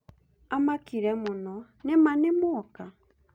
Amakire mũno ‘’nĩma nĩmuoka’’